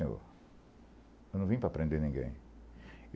Eu não vim para prender ninguém.